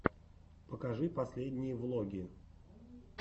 покажи последние влоги